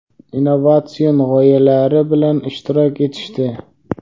innovatsion g‘oyalari bilan ishtirok etishdi.